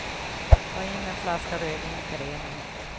Ta in en flaska rödvin till renen.